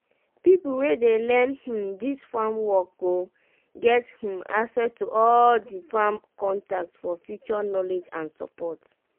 pipo wey dey learn um dis farm work go get um access to all di farm contact for future knowledge and support.